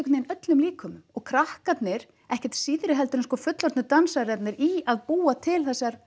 veginn öllum líkömum og krakkarnir ekkert síðri heldur en fullorðnu dansararnir í að búa til þessar